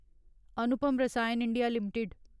Anupam Rasayan India limited